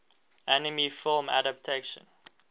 anime film adaptation